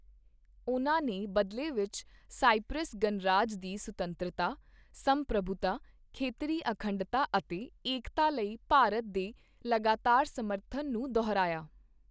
ਉਨ੍ਹਾਂ ਨੇ ਬਦਲੇ ਵਿੱਚ ਸਾਇਪ੍ਰਸ ਗਣਰਾਜ ਦੀ ਸੁਤੰਤਰਤਾ, ਸੰਪ੍ਰਭੂਤਾ, ਖੇਤਰੀ ਅਖੰਡਤਾ ਅਤੇ ਏਕਤਾ ਲਈ ਭਾਰਤ ਦੇ ਲਗਾਤਾਰ ਸਮਰਥਨ ਨੂੰ ਦੁਹਰਾਇਆ।